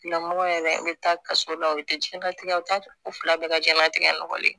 Tigilamɔgɔ yɛrɛ bɛ taa kaso la o bɛ taa jiyɛnlatigɛ la u t'a fila bɛɛ ka jɛnnatigɛ nɔgɔlen ye